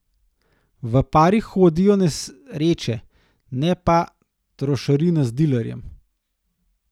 V parih hodijo nesreče, ne pa trošarina z dilerjem.